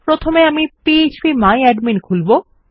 প্রথমে আমি PHP my admin খুলবো